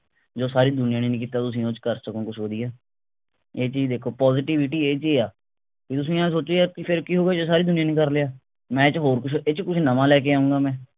ਜੋ ਸਾਰੀ ਦੁਨੀਆਂ ਨੇ ਨ ਹੀ ਕੀਤਾ ਤੁਸੀਂ ਉਸ ਚ ਕਰ ਸਕੋਂ ਕੁਛ ਵਧੀਆ ਇਹ ਚੀਜ ਦੇਖੋ positivity ਇਹ ਚ ਆ ਵੀ ਤੁਸੀਂ ਆਹ ਸੋਚੀਏ ਵੀ ਫੇਰ ਕਿ ਹੋ ਗਿਆ ਜੇ ਸਾਰੀ ਦੁਨੀਆਂ ਨੇ ਕਰ ਲਿਆ ਮੈਂ ਹੋਰ ਕੁਛ ਇਹ ਚ ਕੁਛ ਨਵਾਂ ਲੈ ਕੇ ਆਊਂਗਾ ਮੈਂ